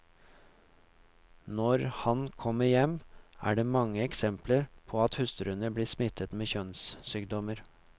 Når han kommer hjem, er det mange eksempler på at hustruene blir smittet med kjønnssykdommer.